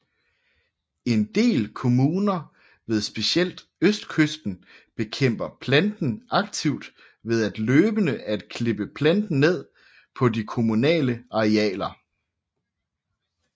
En del kommuner ved specielt østkysten bekæmper planten aktivt ved løbende at klippe planten ned på de kommunale arealer